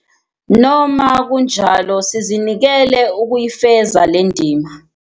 Noma kunjalo sizinikele ukuyifeza le ndima.